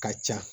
Ka ca